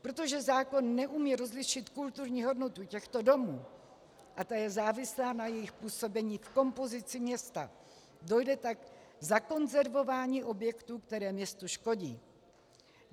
Protože zákon neumí rozlišit kulturní hodnotu těchto domů, a ta je závislá na jejich působení v kompozici města, dojde tak k zakonzervování objektů, které městu škodí.